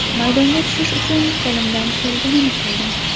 Maydonga tushish uchun qo‘limdan kelganini qildim.